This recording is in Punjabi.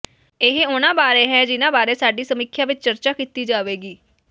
ਇਹ ਉਨ੍ਹਾਂ ਬਾਰੇ ਹੈ ਜਿਨ੍ਹਾਂ ਬਾਰੇ ਸਾਡੀ ਸਮੀਖਿਆ ਵਿਚ ਚਰਚਾ ਕੀਤੀ ਜਾਵੇਗੀ